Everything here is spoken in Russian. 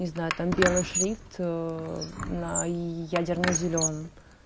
не знаю там белый шрифт ээ на ядерно зелёном